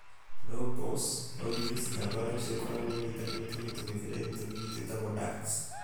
Lobes, lobules na bulbs ĩkoragwo inyitanĩtue na tũmiberethi tũnini twĩtagwo ducts.